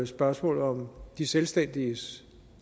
spørgsmålet om de selvstændiges